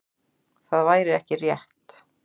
Það væri ekki rétt.